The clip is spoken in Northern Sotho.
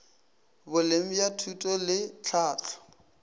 boleng bja thuto le tlhahlo